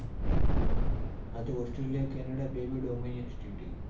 હા તો Australia Canada બંને dominal state હ.